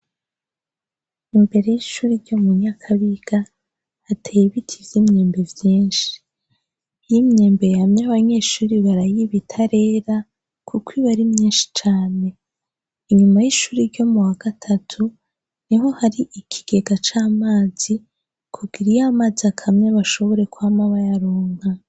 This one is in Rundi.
Imbere y'ishuri ryo mu nyakabiga ateye ibiti vy' imyembe vyinshi y'imyembe yamye abanyeshuri barayibita rera, kuko ibeari myenshi cane inyuma y'ishuri ryo mu wa gatatu ni ho hari ikigega c'amazi kugira iyo mazi akamyaba bashobore kwama bayaronga.